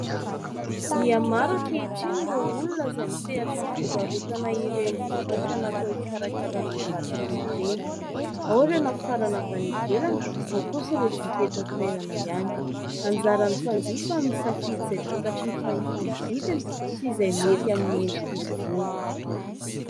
Miha maro ankehitriny ireo olona izay misehatra amin'ny fivarotana ireny vokatra natao hikarakaràna vatana ireny. Ao ireo nafarana avy any ivelany, ao kosa ireo vita eto an-toerana ihany. Anjaran'ny mpanjifa ny misafidy izay takatry ny fahefa-mividiny sy izay mety amin'ny endrik'izy ireo.